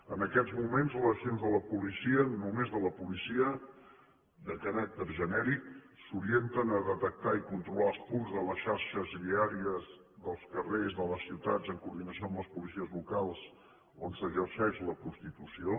en aquests moments les accions de la policia només de la policia de caràcter genèric s’orienten a detectar i a controlar els punts de les xarxes viàries dels carrers de les ciutats en coordinació amb les policies locals on s’exerceix la prostitució